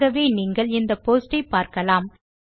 ஆகவே நீங்கள் இந்த போஸ்ட் ஐ பார்க்கலாம்